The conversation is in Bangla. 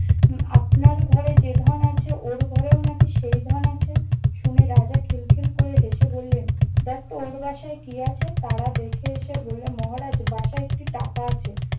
উম আপনার ঘরে যে ধন আছে ওর ঘরেও নাকি সেই ধন আছে। শুনে রাজা খিল খিল করে হেসে বললেন- দেখত ওর বাসায় কি আছে? তারা দেখে এসে বললে মহারাজ- বাসায় একটি টাকা আছে।